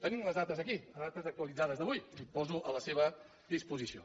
tenim les dates aquí les dates actualitzades d’avui que poso a la seva disposició